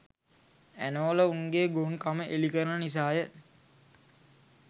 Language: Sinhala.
ඇනෝල උන්ගේ ගොන් කම එළි කරන නිසාය .